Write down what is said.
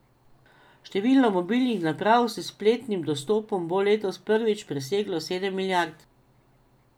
Število mobilnih naprav s spletnim dostopom bo letos prvič preseglo sedem milijard.